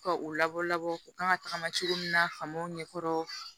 Ka u labɔ labɔ u kan ka tagama cogo min na famaw ɲɛ kɔrɔ